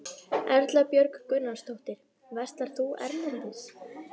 Erla Björg Gunnarsdóttir: Verslar þú erlendis?